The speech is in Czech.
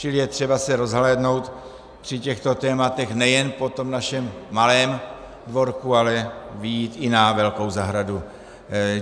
Čili je třeba se rozhlédnout při těchto tématech nejen po tom našem malém dvorku, ale vyjít i na velkou zahradu.